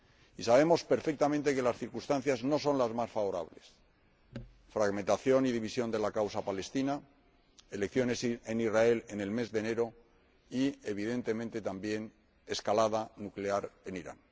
Y sabemos perfectamente que las circunstancias no son las más favorables fragmentación y división de la causa palestina, elecciones en Israel en el mes de enero y, evidentemente también, escalada nuclear en Irán.